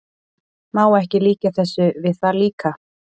Má ekki líkja þessu við það líka?